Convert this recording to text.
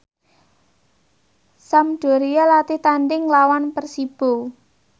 Sampdoria latih tandhing nglawan Persibo